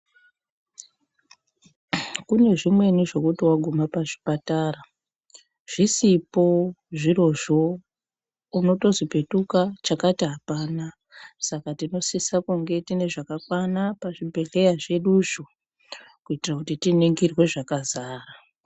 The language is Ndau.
Kune zvimweni zvokuti vaguma pazvipatara zvisipo zvirozvo unotozi petuka chakati hapana. Saka tinosise kunge tine zvakakwana pazvibhedhleya zveduzvo. Kuitira kuti tiningirwe zvakazara.